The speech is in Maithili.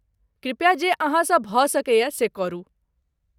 कृपया जे अहाँसँ भऽ सकय से करू।